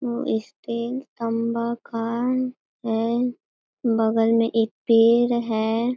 और इसके खंभा मकान है बगल में एक पेड़ है।